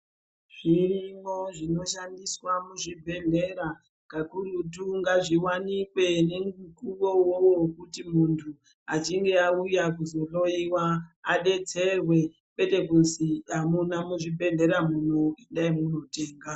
Zvirimwo zvinoshandiswa muzvibhedhlera kakurutu ngazviwanikwe ngemukuwo uwowo kuti muntu achinge auya kuzohloiwa adetserwe kwete kuti,"Amuna muzvibhedhlera muno endai munotenga."